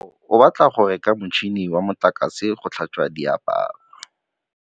Katlego o batla go reka motšhine wa motlakase wa go tlhatswa diaparo.